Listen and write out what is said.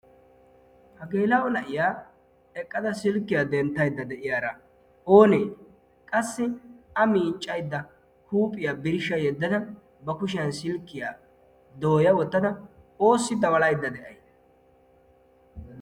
hageela'o na'iyaa eqqada silkkiyaa denttaidda de; iyaara oonee qassi a miiccaidda huuphiyaa birshsha yeddada ba kushiyan silkkiyaa dooya wottada oossi dabalaidda de'ai??